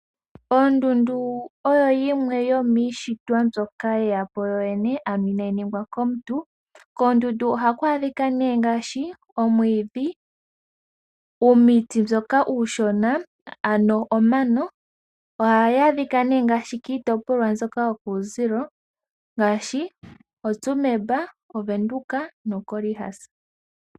Ondundu oyo yimwe yomiishitwa mbyoka ye ya po yoyene, ano inaayi ningwa komuntu. Koondundu ohaku adhi ka nee ngaashi: omwiidhi, uumuti mboka uushona , ano omano. Ohayi adhika nee ngaashi kiitopolwa mboka yokuumbugantu ngaashi oTsumeb, Ovenduka noKhorixas.